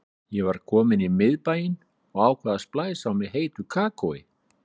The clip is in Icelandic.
Ég var komin í miðbæinn og ákvað að splæsa á mig heitu kakói.